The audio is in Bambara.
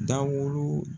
Daburu